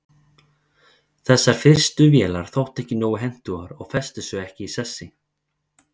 þessar fyrstu vélar þóttu ekki nógu hentugar og festu sig ekki í sessi